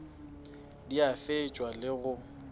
di a fetšwa le go